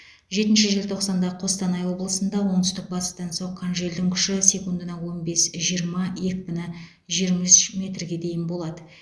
жетінші желтоқсанда қостанай облысында оңтүстік батыстан соққан желдің күші секундына он бес жиырма екпіні жиырма үш метрге дейін болады